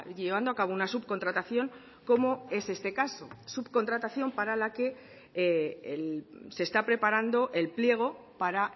llevando a cabo una subcontratación como es este caso subcontratación para la que se está preparando el pliego para